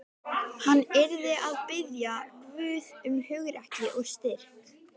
Hann yrði að biðja Guð um hugrekki og styrk.